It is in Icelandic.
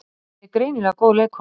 En ég er greinilega góð leikkona